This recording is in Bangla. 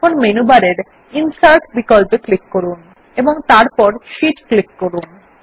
এখন মেনু বারের ইনসার্ট বিকল্প এ ক্লিক করুন ও তারপর Sheet এ ক্লিক করুন